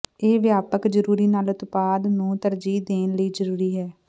ਇਹ ਵਿਆਪਕ ਜ਼ਰੂਰੀ ਨਾਲ ਉਤਪਾਦ ਨੂੰ ਤਰਜੀਹ ਦੇਣ ਲਈ ਜ਼ਰੂਰੀ ਹੈ